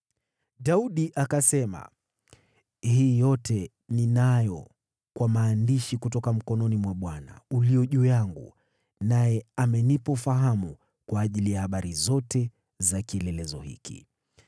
Daudi akasema, “Hii yote, ninayo kwa maandishi kutoka mkononi mwa Bwana ulio juu yangu, naye amenipa ufahamu kwa ajili ya habari zote za kielelezo hiki.”